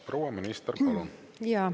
Proua minister, palun!